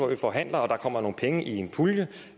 vi forhandler og der kommer nogle penge i en pulje